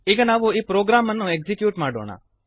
ಈಗ ನಾವು ಈ ಪ್ರೋಗ್ರಾಮನ್ನು ಎಕ್ಸೀಕ್ಯೂಟ್ ಮಾಡೋಣ